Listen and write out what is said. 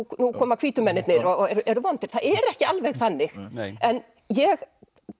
koma hvítu mennirnir og eru vondir það er ekki alveg þannig en ég